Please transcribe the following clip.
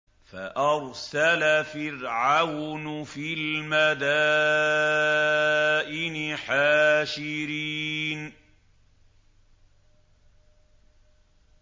فَأَرْسَلَ فِرْعَوْنُ فِي الْمَدَائِنِ حَاشِرِينَ